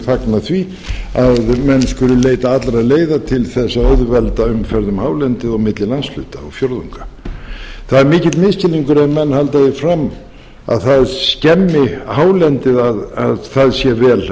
fagna því að menn skuli leita allra leiða til þess að auðvelda umferð um hálendið og milli landshluta og landsfjórðunga það er mikill misskilningur ef menn halda því fram að það skemmi hálendið að það sé vel